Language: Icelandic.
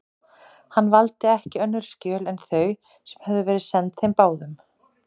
Hann valdi ekki önnur skjöl en þau, sem höfðu verið send þeim báðum.